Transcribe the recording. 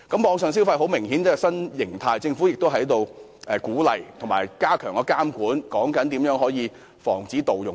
網上消費明顯是一種新形態，政府應該鼓勵及加強監管，研究如何防止盜用。